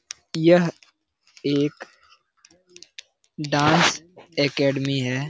यह एक dance academy है ।